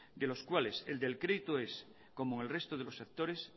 de los cuales el del crédito es como el resto de los sectores